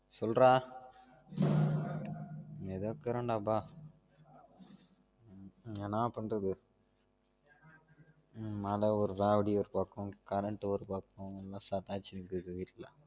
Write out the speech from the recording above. சொல்றா ஏதோ இருக்குறன் டா எப்பா என்னா பண்றது மல ஒரு ராவடி ஒரு பக்கம் current ஒரு பக்கம் எல்லாம் செதச்சினுகுது வீட்டுல